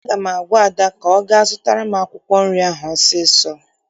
Aga m agwa Ada ka ọ gaa zụtara m akwụkwọ nri ọsọọsọ!